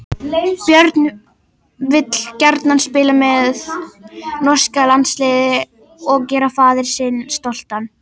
Björn vill gjarnan spila fyrir norska landsliðið og gera faðir sinn stoltan.